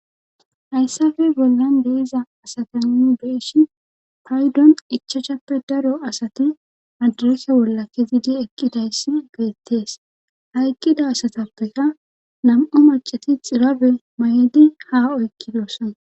Hayssape bollan deiza asata nun be7eshi paydon ichachappe daro asati adarese wolla kezidi eqqidayssi getettees ha eqqida asatappeka nam7o macati xirabe may7edi ha oykkidosson.